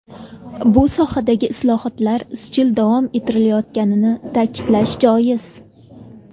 Bu sohadagi islohotlar izchil davom ettirilayotganini ta’kidlash joiz.